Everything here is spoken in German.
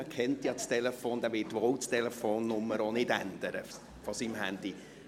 Man kennt ja seine Telefonnummer, und er wird diese wohl kaum ändern.